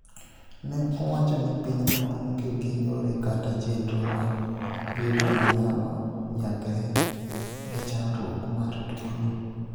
ne owacho ni pinyno onge gi yore kata chenro mag gedo manyalo nyagre gi chandruok mar tuo no